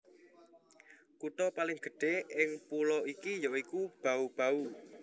Kutha paling gedhé ing pulo iki ya iku Bau Bau